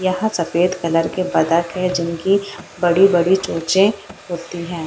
यहाँ सफेद कलर के बदक है जिनकी बड़ी-बड़ी चोचे होती है।